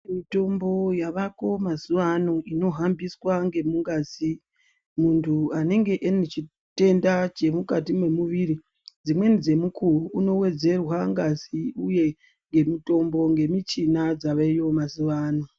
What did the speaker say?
Mitombo yavako mazuva ano ino hambiswa nge mungazi muntu anenge ane chitenda chiri mukati me muviri dzimweni dze mukuwo uno wedzerwa ngazi uye nge mutombo nge michina dzaveyo mazuva ano.